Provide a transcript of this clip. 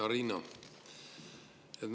Hea Riina!